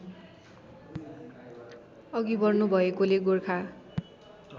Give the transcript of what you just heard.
अघि बढ्नुभएकोले गोर्खा